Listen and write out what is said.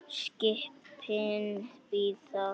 Skipin bíða ekki.